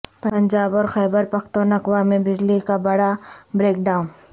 پنجاب اور خیبر پختونخوا میں بجلی کا بڑا بریک ڈاون